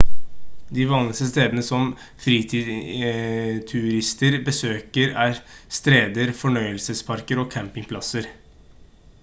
de vanligste stedene som fritidsturister besøker er strender fornøyelsesparker og campingplasser